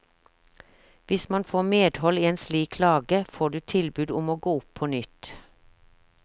Hvis man får medhold i en slik klage får du tilbud om å gå opp på nytt.